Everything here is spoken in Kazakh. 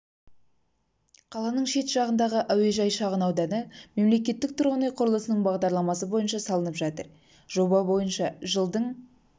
қаланың шет жағындағы әуежай шағын ауданы мемлекеттік тұрғын үй құрылыс бағдарламасы бойынша салынып жатыр жоба бойынша жылдың